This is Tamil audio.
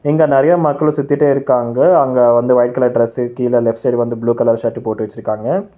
இங்க நெறைய மக்களு சுத்திடே இருக்காங்க அங்க வந்து ஒயிட் கலர் டிரஸ்ஸு கீழ லெஃப்ட் சைடு வந்து ப்ளூ கலர் ஷர்ட் போட்டு வச்சிருக்காங்க.